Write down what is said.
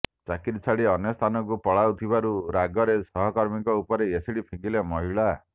ଚାକିରି ଛାଡ଼ି ଅନ୍ୟ ସ୍ଥାନକୁ ପଳାଉ ଥିବାରୁ ରାଗରେ ସହକର୍ମୀଙ୍କ ଉପରେ ଏସିଡ୍ ଫିଙ୍ଗିଲେ ମହିଳା